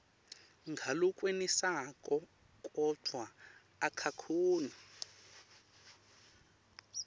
ngalokwenetisako kodvwa akakhoni